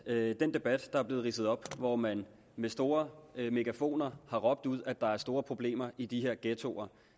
at den debat der er blevet ridset op hvor man med store megafoner har råbt ud at der er store problemer i de her ghettoer